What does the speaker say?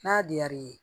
N'a diyar'i ye